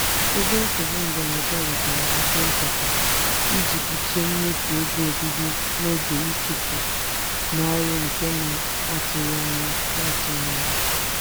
ego nsogbu mberede wetara akwụ nchekwa iji kpuchie mmefu ego obibi n'oge ịchụpụ n'ọrụ nke na-atụghị anya na-atụghị anya ya.